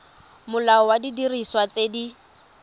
molao wa didiriswa tse di